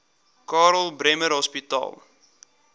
karl bremer hospitaal